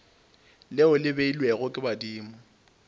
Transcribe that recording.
leo le beilwego ke badimo